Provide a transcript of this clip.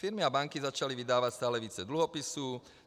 Firmy a banky začaly vydávat stále více dluhopisů.